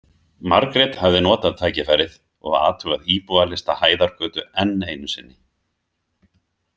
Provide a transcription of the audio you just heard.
Margrét hafði notað tækifærið og athugað íbúalista Hæðargötu enn einu sinni.